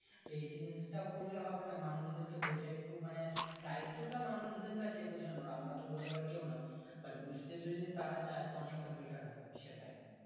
তো এই জিনিসটা করলে হবে না মানুষদেরকে বোঝা একটু মানে দায়িত্ব টা মানুষদের কাছে বোঝানোর আমরা তো বোঝাবার কেও না but বুজতে যদি তারা চাই তো অনেকটা better হবে